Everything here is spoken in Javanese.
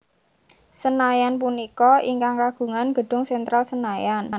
Senayan punika ingkang kagungan gedung Sentral Senayan